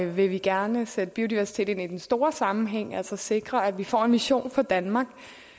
vi vil gerne sætte biodiversitet ind i den store sammenhæng altså sikre at vi får en vision for danmark